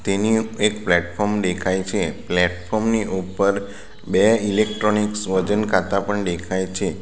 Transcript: એની ઉપ એક પ્લેટફોર્મ દેખાય છે પ્લેટફોર્મ ની ઉપર બે ઇલેક્ટ્રોનિક્સ વજન કાંટા પણ દેખાય છે.